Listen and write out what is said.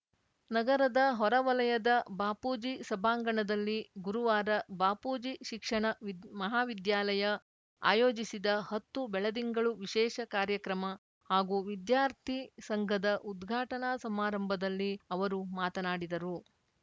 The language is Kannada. ನಗರದ ಹೊರವಲಯದ ಬಾಪೂಜಿ ಸಭಾಂಗಣದಲ್ಲಿ ಗುರುವಾರ ಬಾಪೂಜಿ ಶಿಕ್ಷಣ ವಿದ್ ಮಹಾವಿದ್ಯಾಲಯ ಆಯೋಜಿಸಿದ ಹತ್ತು ಬೆಳದಿಂಗಳು ವಿಶೇಷ ಕಾರ್ಯಕ್ರಮ ಹಾಗೂ ವಿದ್ಯಾರ್ಥಿ ಸಂಘದ ಉದ್ಘಾಟನಾ ಸಮಾರಂಭದಲ್ಲಿ ಅವರು ಮಾತನಾಡಿದರು